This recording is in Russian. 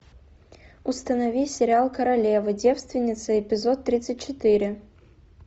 установи сериал королева девственница эпизод тридцать четыре